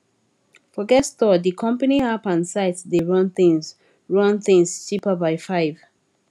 forget store di company app and site dey run things run things cheaper by 5